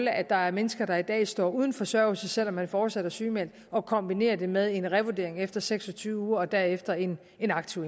er at der er mennesker der i dag står uden forsørgelse selv om man fortsat er sygemeldt og kombinerer det med en revurdering efter seks og tyve uger og derefter en en aktiv